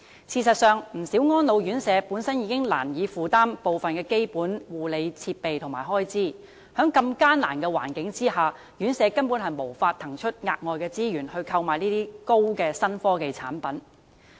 事實上，不少安老院舍本身已難以負擔部分基本護理設備和開支，在如此艱難的環境下，院舍根本無法騰出額外資源來購買高新科技產品。